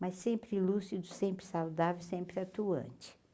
Mas sempre lúcido, sempre saudável, sempre atuante.